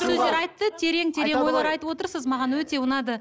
сөздер айтты терең терең ойлар айтып отырсыз маған өте ұнады